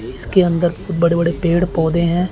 इसके अंदर बड़े बड़े पेड़ पौधे हैं।